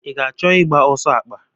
I ga-achọ ịgba ọsọ akpa?